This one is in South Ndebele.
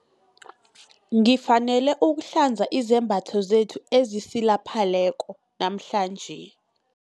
Ngifanele ukuhlanza izembatho zethu ezisilapheleko namhlanje.